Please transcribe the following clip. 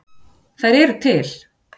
Þær eru til!